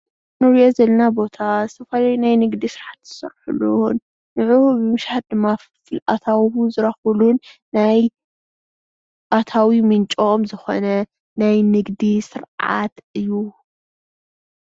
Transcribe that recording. እንሪኦ ዘለና ቦታ ዝተፈላለዩ ናይ ንግዲ ስራሕቲ ዝሰርሕሉ እዉን ንዕኡ ብምሻጥ ድማ ፍልፍል ኣታዊ ዝረክብሉን ናይ ኣታዊ ምንጮም ዝኮነ ናይ ንግዲ ስርዓት እዩ፡፡